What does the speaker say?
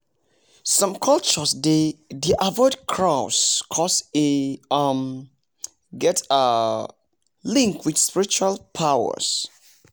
some cultures dey dey avoid crows coz e um get um link with spiritual powers